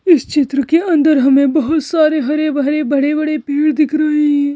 इस चित्र के अंदर हमें बहुत सारे हरे भरे बड़े-बड़े पेड़ दिख रहे है।